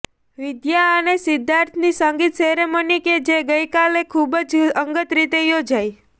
વિદ્યા અને સિદ્ધાર્થની સંગીત સેરેમની કે જે ગઈકાલે ખૂબ જ અંગત રીતે યોજાઈ